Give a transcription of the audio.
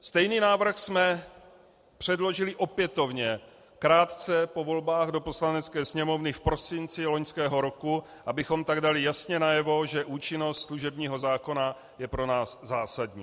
Stejný návrh jsme předložili opětovně krátce po volbách do Poslanecké sněmovny v prosinci loňského roku, abychom tak dali jasně najevo, že účinnost služebního zákona je pro nás zásadní.